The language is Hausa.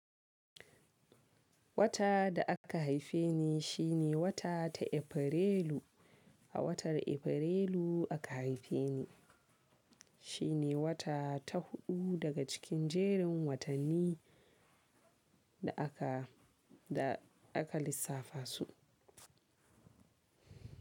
Wata da aka haife ni shine wata ta Afrilu. A watan Afrilu aka haife ni. Shi ne wata ta huɗu daga cikin jerin watanni da aka, da aka lissafa su.